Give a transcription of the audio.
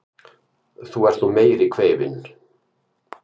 Þú ert nú meiri kveifin!